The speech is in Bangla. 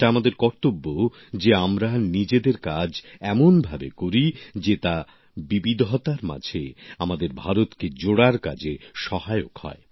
এটা আমাদের কর্তব্য যে আমরা নিজেদের কাজ এমনভাবে করি যে তা বিবিধতার মাঝে আমাদের ভারতকে জোড়ার কাজে সহায়ক হয়